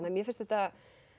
mér finnst þetta